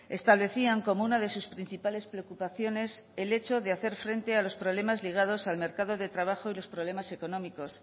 establecían como una de sus principales preocupaciones el hecho de hacer frente a los problemas ligados al mercado de trabajo y los problemas económicos